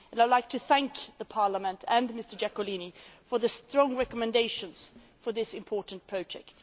I would like to thank the Parliament and Mr Iacolino for the strong recommendations on this important project.